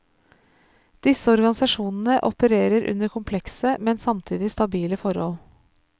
Disse organisasjonene opererer under komplekse, men samtidig stabile forhold.